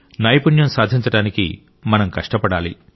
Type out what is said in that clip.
నైపుణ్యం సాధించడానికి మనం కష్టపడాలి